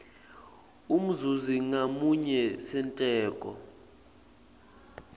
umzuzi ngamunye senteko